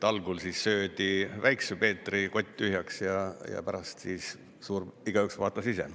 Algul söödi Väikese Peetri kott tühjaks ja pärast siis igaüks vaatas ise.